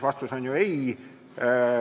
Vastus on ju ei.